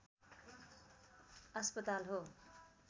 अस्पताल हो